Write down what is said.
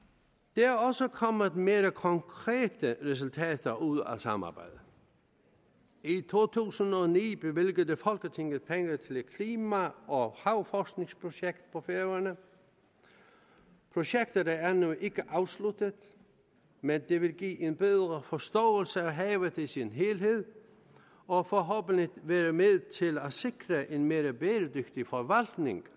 der er også kommet mere konkrete resultater ud af samarbejdet i to tusind og ni bevilgede folketinget penge til et klima og havforskningsprojekt på færøerne projektet er endnu ikke afsluttet men det vil give en bedre forståelse af havet i sin helhed og forhåbentlig være med til at sikre en mere bæredygtig forvaltning